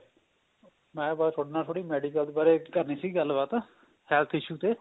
ਮੈਂ ਬੱਸ ਤੁਹਾਡੇ ਨਾਲ medical ਬਾਰੇ ਤੁਹਾਡੇ ਨਾਲ ਕਰਨੀ ਸੀ ਗੱਲ ਬਾਤ health issue ਤੇ